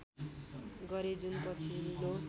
गरे जुन पछिल्लो